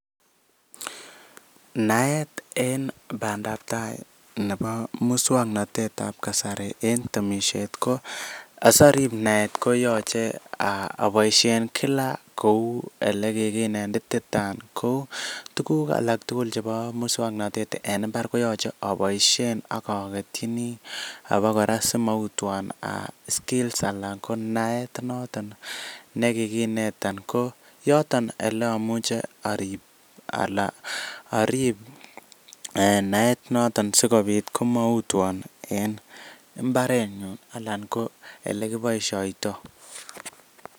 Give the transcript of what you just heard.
Naet eng bandabtai nebo muswoknotetab kasari en temisiet ko asarip naet koyachei aboishe kila kou ole kikinetitita. Ko tukuk alak tugul chebo muswoknotet en mbar ko yachei aboishe akaketchini abo kora si amautwa skills notok ne kikineta koyoton ele amuche arip. Ala arip naet noton sikobit komautwan en mbarenyu anan ko ole kiboishoitoi.